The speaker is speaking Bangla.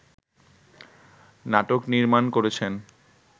নাটক নির্মাণ করছেন